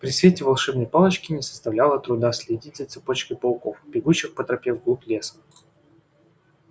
при свете волшебной палочки не составляло труда следить за цепочкой пауков бегущих по тропе в глубь леса